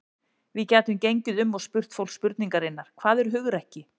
Við gætum gengið um og spurt fólk spurningarinnar: Hvað er hugrekki?